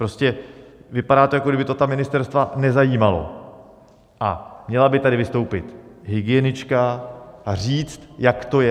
Prostě vypadá to, jako kdyby to ta ministerstva nezajímalo, a měla by tady vystoupit hygienička a říct, jak to je.